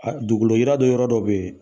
Dugukoloyira dɔ yɔrɔ dɔ bɛ yen